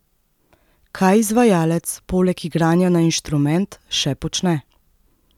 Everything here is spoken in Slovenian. Kaj izvajalec, poleg igranja na inštrument, še počne?